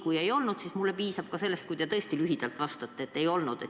Kui ei olnud, siis mulle piisab ka sellest, kui te lühidalt vastate, et ei olnud.